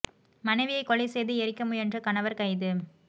மனைவியை கொலை செய்து எரிக்க முயன்ற கணவர் கைது